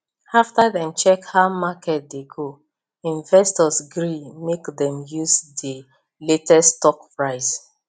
after dem check how market dey go investors gree make dem use the latest stock price